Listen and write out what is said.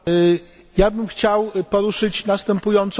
Chciałbym poruszyć następującą kwestię.